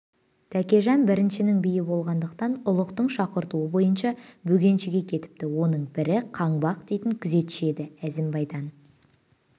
тәкежан біріншінің биі болғандықтан ұлықтың шақыртуы бойынша бөкеншіге кетіпті оның бірі қаңбақ дейтін күзетші еді әзімбайдан